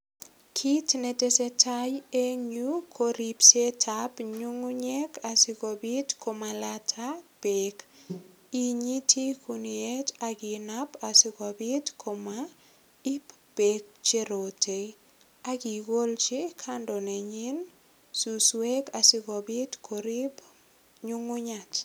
Kit netesetai eng yu ko ripsetab nyungunyek asigopit komalaita beek. Inyiti guniet inap asikopit komaip beek che rote ak igolchi kando nenyin suswek sigopit korip nyungunyat.